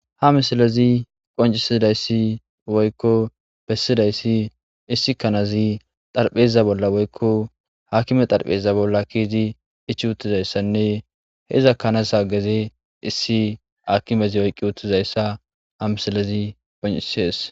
Ha misilezi qoncisidayssi woykko bessidayssi issi kanazi xarpheza bolla woykko hakime xarpheza bolla kiizi ichi uttizayssanne he iza kanasa gezi issi aakimezi oyqqi uttizayssa ha misilezi qonccissees.